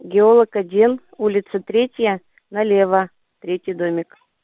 геолог один улица третья налево третий домик